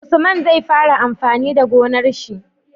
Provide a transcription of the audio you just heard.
Usman zai fara amfani da gonar shi